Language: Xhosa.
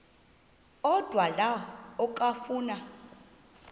odwa la okafuna